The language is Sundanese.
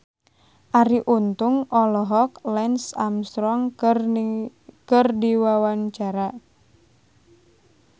Arie Untung olohok ningali Lance Armstrong keur diwawancara